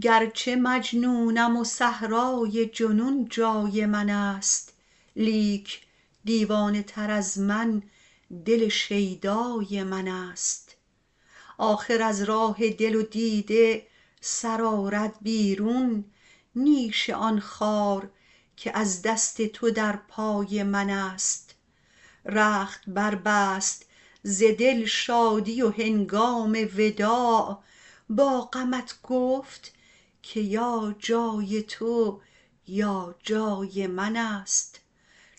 گرچه مجنونم و صحرای جنون جای من است لیک دیوانه تر از من دل شیدای من است آخر از راه دل و دیده سر آرد بیرون نیش آن خار که از دست تو در پای من است رخت بربست ز دل شادی و هنگام وداع با غمت گفت که یا جای تو یا جای من است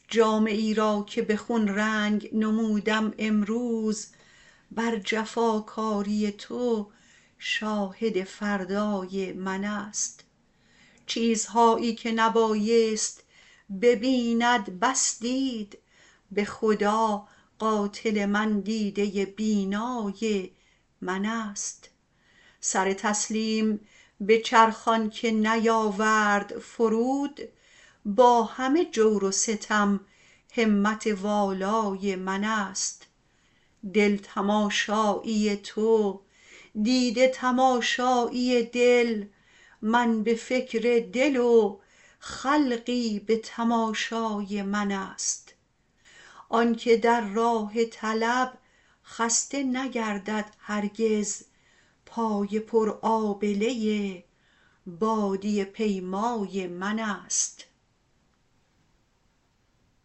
جامه ای را که به خون رنگ نمودم امروز بر جفاکاری تو شاهد فردای من است چیزهایی که نبایست ببیند بس دید به خدا قاتل من دیده بینای من است سر تسلیم به چرخ آنکه نیاورد فرود با همه جور و ستم همت والای من است دل تماشایی تو دیده تماشایی دل من به فکر دل و خلقی به تماشای من است آنکه در راه طلب خسته نگردد هرگز پای پرآبله بادیه پیمای من است